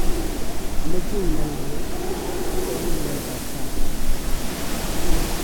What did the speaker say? ameche inai ale asome nyoetab kaat